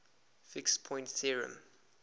fixed point theorem